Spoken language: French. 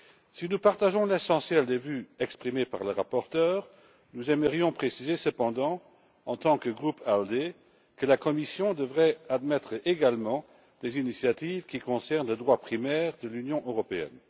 Si nous partageons l'essentiel des vues exprimées par le rapporteur, nous aimerions préciser cependant, en tant que groupe ALDE, que la Commission devrait admettre également des initiatives qui concernent le droit primaire de l'Union européenne.